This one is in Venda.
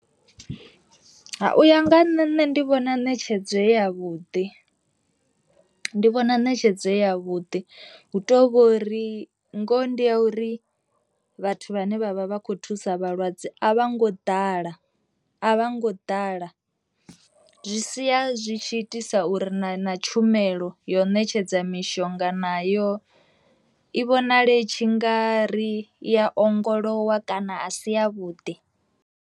U ya nga nṋe nṋe ndi vhona netshedzo i ya vhuḓi ndi vhona netshedzo ya vhuḓi, hu to vhori ngoho ndi ya uri vhathu vhane vhavha vha kho thusa vhalwadze a vho ngo ḓala a vha ngo ḓala, zwi sia zwi tshi itisa uri na tshumelo yo ṋetshedza mishonga nayo i vhonale tshi ngari ya ongolowa kana a si ya vhuḓi.